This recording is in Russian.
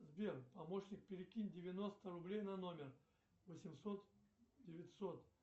сбер помощник перекинь девяносто рублей на номер восемьсот девятьсот